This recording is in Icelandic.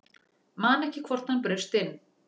Man ekki hvort hann braust inn